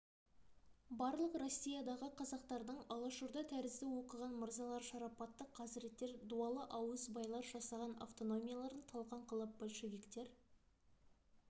барлық россиядағы қазақтардың алаш орда тәрізді оқыған мырзалар шарапатты қазіреттер дуалы ауыз байлар жасаған автономияларын талқан қылып большевиктер